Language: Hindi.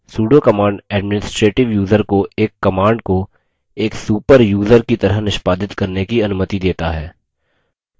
sudo command administrative यूज़र को एक command को एक super यूज़र की तरह निष्पादित करने की अनुमति देता है